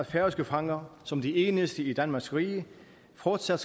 færøske fanger som de eneste i danmarks rige fortsat